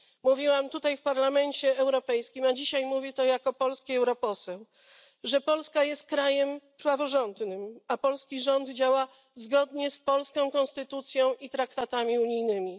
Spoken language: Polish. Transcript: mówiłam tutaj w Parlamencie Europejskim, a dzisiaj mówię to jako polski europoseł, że Polska jest krajem praworządnym, a polski rząd działa zgodnie z polską konstytucją i traktatami unijnymi.